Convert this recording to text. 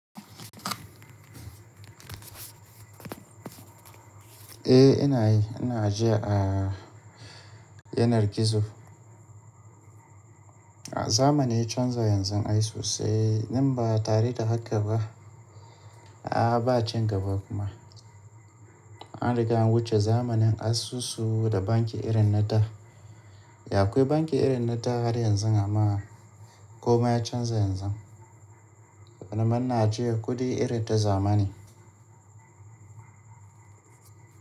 Eh ina yi, ina ajiya a yanar gizo. Zamani ya canza yanzu ai sosai, in ba tare da haka ba, a ba cin gaba kuma. An riga an wuce zamanin asusu da banki irin na da. Da akwai banki irin na da har yanzu amma komai ya canza yanzu. Zamana ajiya kuɗi irin ta zamani.